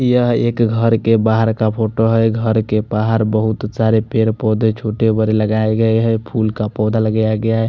यह एक घर के बहार का फोटो है घर के बहार बोहोत सारे पेड़ पोधे छोटे बड़े लगाये गये है फूल का पोधा लगाया गया है।